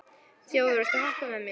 Þjóðar, viltu hoppa með mér?